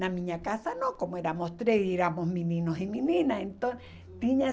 Na minha casa não, como éramos três, éramos meninos e meninas. Então tinha